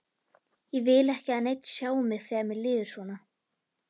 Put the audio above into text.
Ég vil ekki að neinn sjái mig þegar mér líður svona.